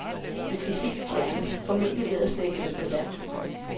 De skal helt fjernes, formentlig ved at slæbe dem på land.